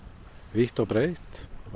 vítt og breitt